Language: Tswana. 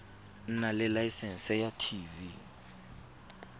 nna le laesense ya tv